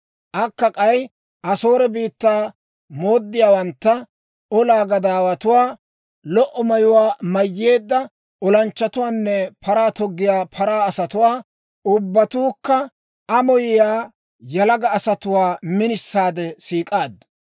Akka k'ay Asoore biittaa mooddiyaawantta, olaa gadaawatuwaa, lo"o mayuwaa mayyeedda olanchchatuwaanne paraa toggiyaa paraa asatuwaa, ubbatuukka amoyiyaa, yalaga asatuwaa minisaade siik'aaddu.